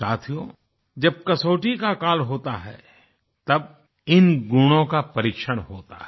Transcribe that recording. साथियो जब कसौटी का काल होता है तब इन गुणों का परीक्षण होता है